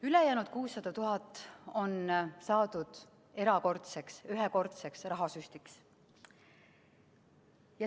Ülejäänud 600 000 on mõeldud erakordseks ühekordseks rahasüstiks.